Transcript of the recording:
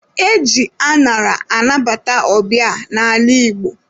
E ji añara anabata ọbịa n'ala Igbo.